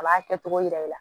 A b'a kɛ cogo jira i la